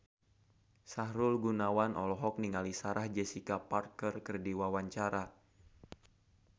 Sahrul Gunawan olohok ningali Sarah Jessica Parker keur diwawancara